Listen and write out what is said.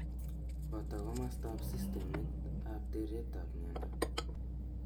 Booto komostab systemit ab teret ab miondo